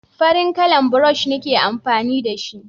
farin kalan burosh nike amfani da shi